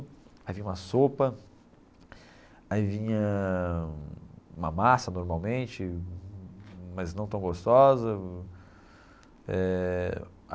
Aí vinha uma sopa, aí vinha uma massa normalmente, mas não tão gostosa eh.